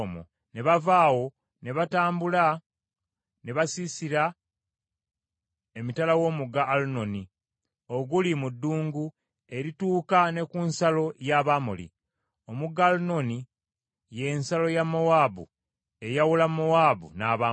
Ne bava awo, ne batambula ne basiisira emitala w’omugga Alunoni, oguli mu ddungu erituuka ne ku nsalo ya Abamoli. Omugga Alunoni ye nsalo ya Mowaabu, eyawula Mowaabu n’Abamoli.